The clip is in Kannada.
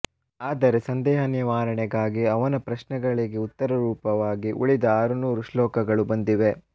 ಆದರೆ ಸಂದೇಹ ನಿವಾರಣೆಗಾಗಿ ಅವನ ಪ್ರಶ್ನೆಗಳಿಗೆ ಉತ್ತರ ರೂಪವಾಗಿ ಉಳಿದ ಆರುನೂರು ಶ್ಲೋಕಗಳು ಬಂದಿವೆ